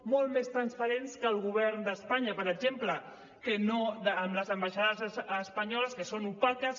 molt més transparents que el govern d’espanya per exemple que amb les ambaixades espanyoles que són opaques